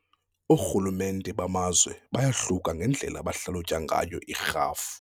Oorhulumente bamazwe bayahluka ngendlela abahlalutya ngayo irhafu.